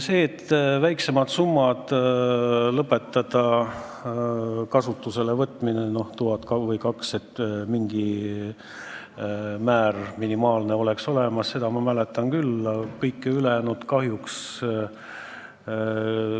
Seda ma mäletan küll, et tuleks lõpetada väiksemate summade, tuhande või kahe tuhande kasutuselevõtmine, et mingi minimaalne määr peaks olema, kõike ülejäänut kahjuks mitte.